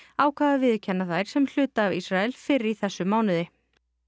ákvað að viðurkenna þær sem hluta af Ísrael fyrr í þessum mánuði